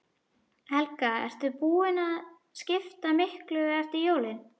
Helga: Ert þú búin að skipta miklu eftir jólin?